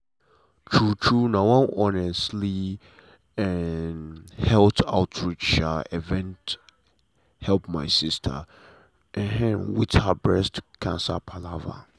true true na one honestly um health outreach um event help my sister um with her breast cancer palava.